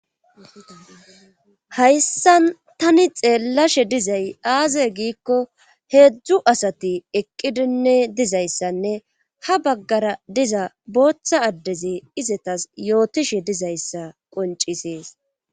hayssan tani xeellashe dizay aaze giikko heedzdzu asati eqqidinne dizayssanne ha baggara diza booththa addeze izetas yootishe dizayssa qoncisees